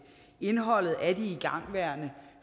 indholdet af de igangværende